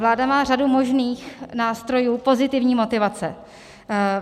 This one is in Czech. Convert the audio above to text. Vláda má řadu možných nástrojů pozitivní motivace.